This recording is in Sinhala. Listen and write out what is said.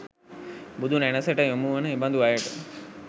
බුදුනැණැසට යොමු වන එබඳු අයට